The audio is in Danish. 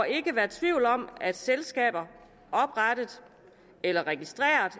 ikke være tvivl om at selskaber oprettet eller registreret